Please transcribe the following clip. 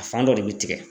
A fan dɔ de bɛ tigɛ